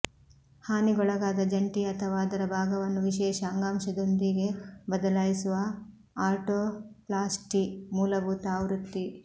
ಹಾನಿಗೊಳಗಾದ ಜಂಟಿ ಅಥವಾ ಅದರ ಭಾಗವನ್ನು ವಿಶೇಷ ಅಂಗಾಂಶದೊಂದಿಗೆ ಬದಲಾಯಿಸುವ ಆರ್ಟೋಪ್ಲ್ಯಾಸ್ಟಿ ಮೂಲಭೂತ ಆವೃತ್ತಿ